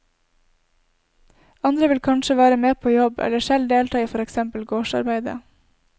Andre vil kanskje være med på jobb, eller selv delta i for eksempel gårdsarbeidet.